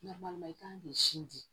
i kan k'i sinji